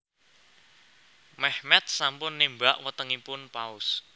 Mehmet sampun némbak wetengipun Paus